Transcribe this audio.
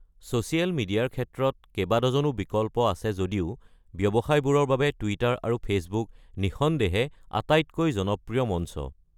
Social মিডিয়াৰ ক্ষেত্ৰত কেবা ডজনো বিকল্প আছে যদিও ব্যৱসায়বোৰৰ বাবে টুইটাৰ আৰু ফেচবুক নিঃসন্দেহে আটাইতকৈ জনপ্ৰিয় মঞ্চ।